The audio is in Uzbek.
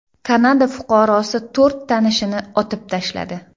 Kanada fuqarosi to‘rt tanishini otib tashladi.